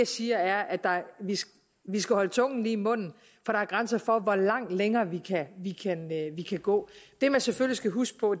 siger er at vi skal holde tungen lige i munden for der er grænser for hvor langt længere vi kan gå det man selvfølgelig skal huske på